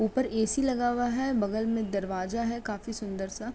ऊपर एसी लगा हुआ है। बगल में दरवाजा है काफी सुंदर सा।